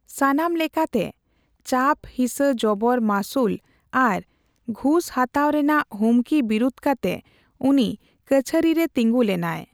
ᱥᱟᱱᱟᱢ ᱞᱮᱠᱟᱛᱮ ᱪᱟᱯᱼᱦᱤᱥᱟᱹ ᱡᱚᱵᱚᱨ ᱢᱟᱹᱥᱩᱞ ᱟᱨ ᱜᱷᱩᱸᱥ ᱦᱟᱛᱟᱣ ᱨᱮᱱᱟᱜ ᱦᱩᱢᱠᱤ ᱵᱤᱨᱩᱫ ᱠᱟᱛᱮ ᱩᱱᱤ ᱠᱟᱪᱟᱦᱟᱨᱤ ᱨᱮ ᱛᱤᱸᱜᱩ ᱞᱮᱱᱟᱭ ᱾